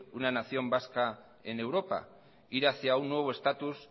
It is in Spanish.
una nación vasca en europa ir hacia un nuevo estatus